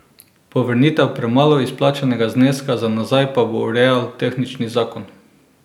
Povrnitev premalo izplačanega zneska za nazaj pa bo urejal tehnični zakon.